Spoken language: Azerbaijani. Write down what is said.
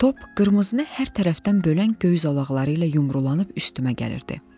Top qırmızını hər tərəfdən bölən göy zolaqları ilə yumrulanıb üstümə gəlirdi.